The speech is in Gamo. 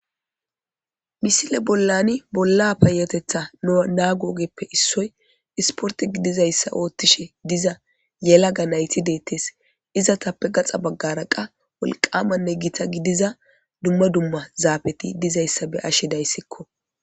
Misile bolani bolla payatetha nago ogeppe issoy isporte gidishin isporte gidizaysa othishe yelaga nayti detes izzeta gaxa bagara wolqama Giza duma duma zapeti dizaysa beyashe daysiko.